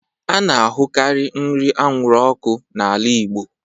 A na-ahụkarị nri anwụrụ ọkụ n'ala Igbo